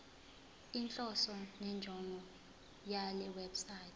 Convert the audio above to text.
inhloso nenjongo yalewebsite